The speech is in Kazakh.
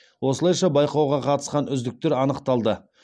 осылайша байқауға қатысқан үздіктер анықталды